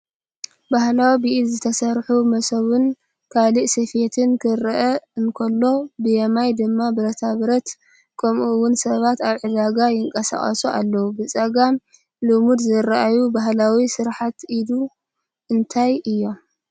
ባህላዊ ብኢድ ዝተሰርሑ መሶብን ካልእ ስፌትን ክረአ እንከሎ፡ ብየማን ድማ ብረታብረት፣ ከምኡውን ሰባት ኣብ ዕዳጋ ይንቀሳቐሱ ኣለዉ። ብጸጋም ልሙድ ዝረኣዩ ባህላዊ ስርሓት ኢድ እንታይ እዮም?